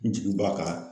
Jigi b'a kan